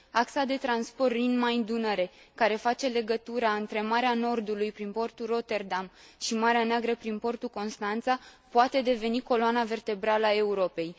Axa de transport Rin Main Dunăre, care face legătura între Marea Nordului, prin portul Rotterdam și Marea Neagră, prin portul Constanța, poate deveni coloana vertebrală a Europei.